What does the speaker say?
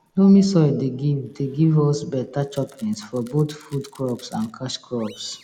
loamy soil dey give dey give us beta choppins for both food crops and cash crops